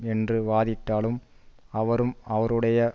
என்று வாதிட்டாலும் அவரும் அவருடைய